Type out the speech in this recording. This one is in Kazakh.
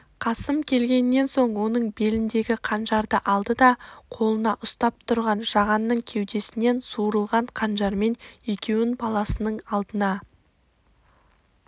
қасым келгеннен соң оның беліндегі қанжарды алды да қолына ұстап тұрған жағанның кеудесінен суырылған қанжармен екеуін баласының алдына